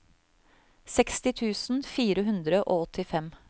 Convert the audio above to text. seksti tusen fire hundre og åttifem